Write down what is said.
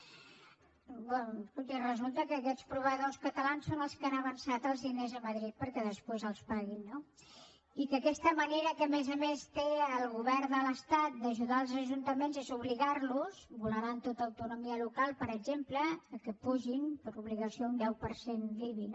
escolti resulta que aquests proveïdors catalans són els que han avançat els diners a madrid perquè després els paguin no i que aquesta manera que a més a més té el govern de l’estat d’ajudar els ajuntaments és obligar los vulnerant tota autonomia local per exemple que apugin per obligació un deu per cent l’ibi